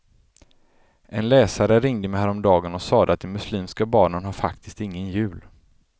En läsare ringde mig häromdagen och sade att de muslimska barnen har faktiskt ingen jul.